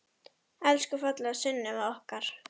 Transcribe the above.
Elsku fallega Sunneva okkar.